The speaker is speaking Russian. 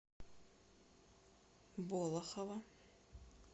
болохово